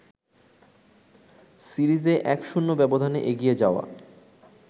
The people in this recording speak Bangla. সিরিজে ১-০ ব্যবধানে এগিয়ে যাওয়া